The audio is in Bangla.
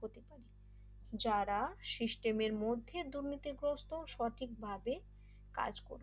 যারা সিস্টেমের মধ্যে দুর্নীতিগ্রস্ত সঠিকভাবে কাজ করুন